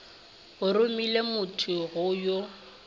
a romile thomo go yo